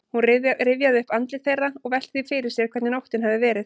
Hún rifjaði upp andlit þeirra og velti því fyrir sér hvernig nóttin hefði verið.